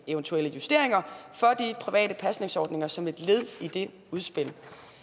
eventuelle justeringer for de private pasningsordninger som et led i det udspil